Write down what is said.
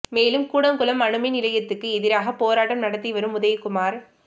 மேலும் கூடங்குளம் அணு மின் நிலையத்துக்கு எதிராக போராட்டம் நடத்தி வரும் உதயகுமார்